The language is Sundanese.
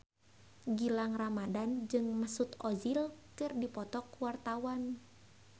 Gilang Ramadan jeung Mesut Ozil keur dipoto ku wartawan